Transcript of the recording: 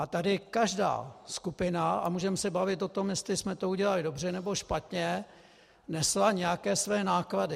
A tady každá skupina, a můžeme se bavit o tom, jestli jsme to udělali dobře, nebo špatně, nesla nějaké své náklady.